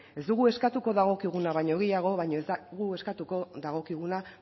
ez dugu eskatuko dagokiguna baino gehiago baina ez dugu eskatuko dagokiguna